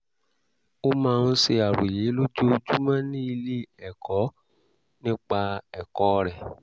ó máa ń ṣe àròyé lójoojúmọ́ ní ilé-ẹ̀kọ́ nípa ẹ̀kọ́ rẹ̀